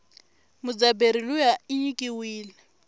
mudzabheri luya inyikiwile